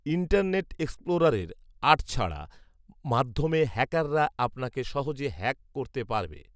internet এক্সপ্লোরারের আট ছাড়া মাধ্যমে হ্যাকাররা আপনাকে সহজে হ্যাক করতে পারবে